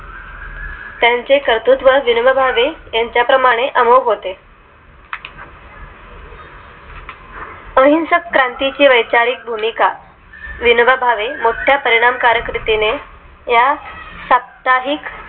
त्यांचे कर्तृत्व व विनोबा भावे यांच्या प्रमाणं अमोग होते अहिंसक क्रांती ची वैचारिक भूमिका विनोबा भावे मोठ्या परिणामकारक रीतीने या साप्ताहिक